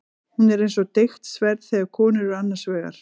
Hún er eins og deigt sverð þegar konur eru annars vegar.